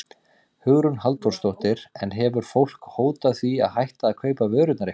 Hugrún Halldórsdóttir: En hefur fólk hótað því að hætta að kaupa vörurnar ykkar?